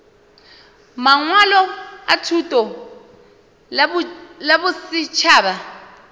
mangwalo a thuto la bosetšhaba